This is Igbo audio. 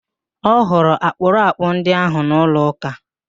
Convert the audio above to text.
Ọ hụrụ akpụrakpụ ndị ahụ nọ n'ụlọ ụ́kà?